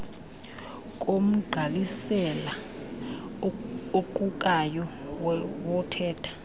komgqalisela oqukayo wothetha